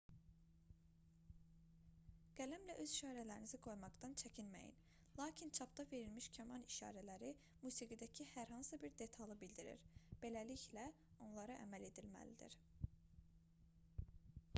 qələmlə öz işarələrinizi qoymaqdan çəkinməyin lakin çapda verilmiş kaman işarələri musiqidəki hər hansı bir detalı bildirir beləliklə onlara əməl edilməlidir